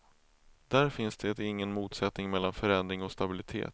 Där finns det ingen motsättning mellan förändring och stabilitet.